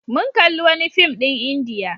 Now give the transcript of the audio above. Mun kalli wani fim ɗin Indiya.